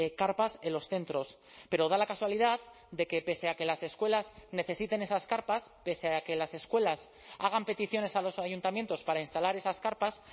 carpas en los centros pero da la casualidad de que pese a que las escuelas necesiten esas carpas pese a que las escuelas hagan peticiones a los ayuntamientos para instalar esas carpas